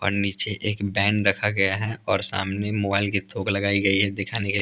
और नीचे एक बैन रखा गया है और सामने मोबाइल की थोक लगाई गई है दिखाने के लिए --